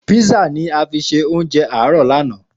Písà ni a fi ṣe oúnjẹ àárọ̀ lánàá.